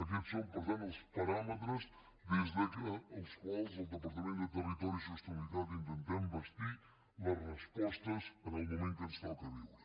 aquests són per tant els paràmetres des dels quals al departament de territori i sostenibilitat intentem bastir les respostes en el moment que ens toca viure